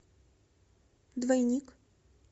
двойник